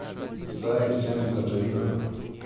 Saj sem zaklenila!